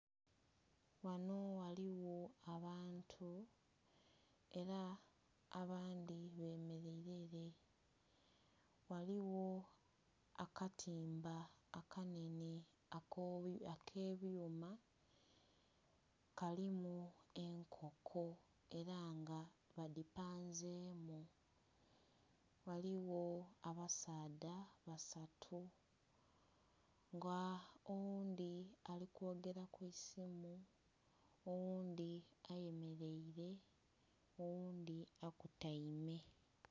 Ghanho ghaligho abantu era abandhi bemereire ere ghaligho akatimba akanhenhe akebyuma kalimu enkoko era nga badhipanzemu. Ghaligho abasaadha basatu nga oghundhi alikwogera kwisimu, oghundhi ayemereire, oghundhi akutaime.